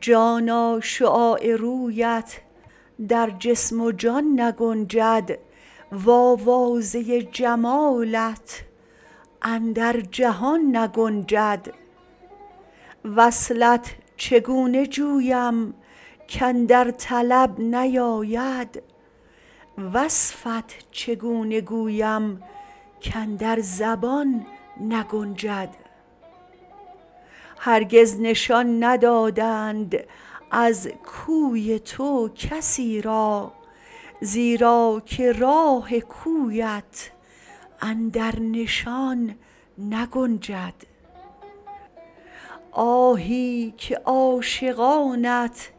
جانا شعاع رویت در جسم و جان نگنجد وآوازه جمالت اندر جهان نگنجد وصلت چگونه جویم کاندر طلب نیاید وصفت چگونه گویم کاندر زبان نگنجد هرگز نشان ندادند از کوی تو کسی را زیرا که راه کویت اندر نشان نگنجد آهی که عاشقانت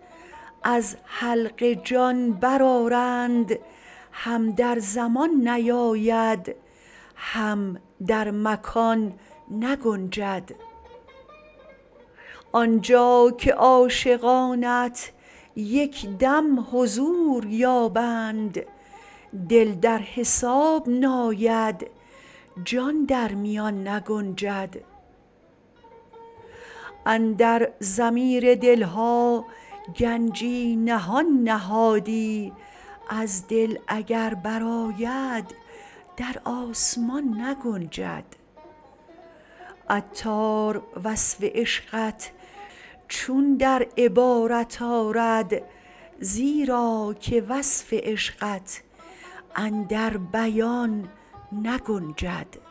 از حلق جان برآرند هم در زمان نیاید هم در مکان نگنجد آن جا که عاشقانت یک دم حضور یابند دل در حساب ناید جان در میان نگنجد اندر ضمیر دل ها گنجی نهان نهادی از دل اگر برآید در آسمان نگنجد عطار وصف عشقت چون در عبارت آرد زیرا که وصف عشقت اندر بیان نگنجد